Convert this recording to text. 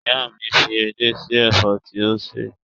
Ìyá mi fi edé sí ẹ̀fọ́ tí ó sè